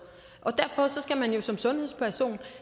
derfor skal man jo som sundhedsperson